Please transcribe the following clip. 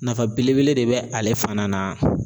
Nafa belebele de bɛ ale fana na